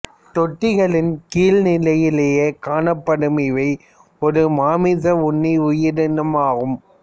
தொட்டிகளின் கீழ் நிலையிலேயே காணப்படும் இவை ஒரு மாமிச உண்ணி உயிரினம் ஆகும்